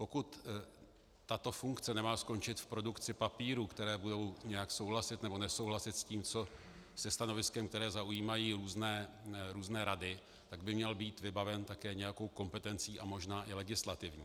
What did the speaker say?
Pokud tato funkce nemá skončit v produkci papírů, které budou nějak souhlasit, nebo nesouhlasit se stanoviskem, které zaujímají různé rady, tak by měl být vybaven také nějakou kompetencí a možná i legislativou.